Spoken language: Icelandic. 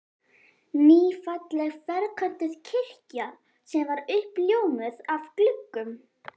Ný, falleg ferköntuð kirkja sem er uppljómuð af gluggum